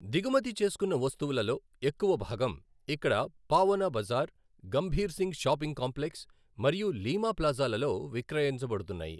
దిగుమతి చేసుకున్న వస్తువులలో ఎక్కువ భాగం ఇక్కడ పాఓనా బజార్, గంభీర్ సింగ్ షాపింగ్ కాంప్లెక్స్ మరియు లీమా ప్లాజాలలో విక్రయించబడుతున్నాయి.